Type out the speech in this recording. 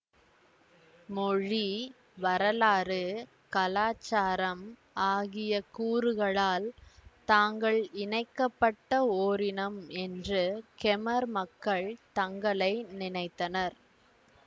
மொழி வரலாறு கலாச்சாரம் ஆகிய கூறுகளால் தாங்கள் இணைக்க பட்ட ஓரினம் என்று கெமர் மக்கள் தங்களை நினைத்தனர்